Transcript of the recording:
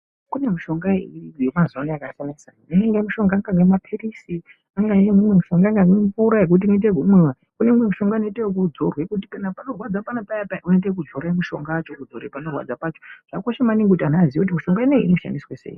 Kune mushonga yemazuvano yakasiyana-siyana, kune imwe mishonga inenge mapiririzi, kune mishonga inenge mvura inoita zvekumwiwa, imwe inoita zvekudzorwa kuti panorwadza paya unoita zvekudzorwa mushonga zvekudzora panorwadza pacho. Zvakakosha maningi kuti anhu aziye kuti mishonga ineyi inoshandiswa sei.